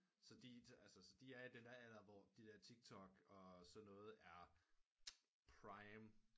Så de er i den der alder hvor de der tiktok og så noget er prime